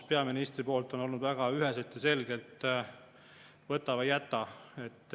Peaministri tonaalsus on olnud väga ühene ja selge: "Võta või jäta.